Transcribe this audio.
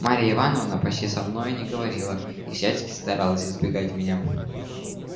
марья ивановна почти со мной не говорила и всячески старалась избегать меня